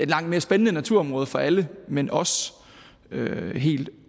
langt mere spændende naturområder for alle men også helt